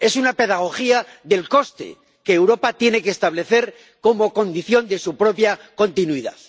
Es una pedagogía del coste que Europa tiene que establecer como condición de su propia continuidad.